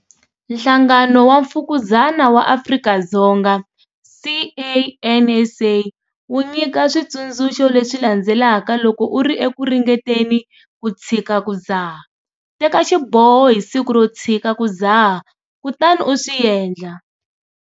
Nhlangano wa Mfukuzana wa Afrika-Dzonga, CANSA, wu nyika switsundzuxo leswi landzelaka loko u ri eku ringeteni ku tshika ku dzaha- Teka xiboho hi siku ro tshika ku dzaha kutani u swi endla.